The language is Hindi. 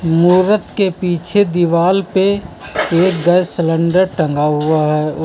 मूरत के पीछे दीवाल पे एक गैस सिलेंडर टंगा हुआ है उस--